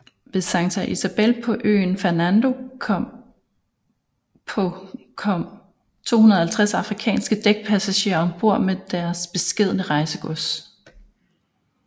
Ved Santa Isabel på øen Fernando på kom 250 afrikanske dækspassagerer ombord med deres beskedne rejsegods